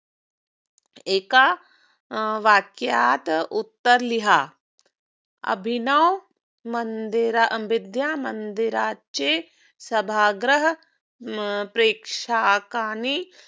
एका अं वाक्यात उत्तर लिहा. अभिनव मंदिरा विद्या मंदिराचे सभागृह हम्म प्रेक्षकाने